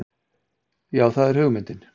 Já það er hugmyndin.